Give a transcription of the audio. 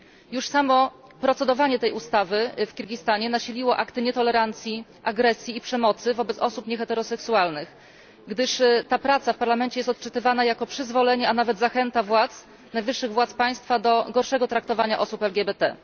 Już samo opracowywanie tej ustawy w Kirgistanie nasiliło akty nietolerancji, agresji i przemocy wobec osób nieheteroseksualnych, gdyż ta praca w Parlamencie jest odczytywana jako przyzwolenie, a nawet zachęta najwyższych władz państwa do gorszego traktowania osób LGBT.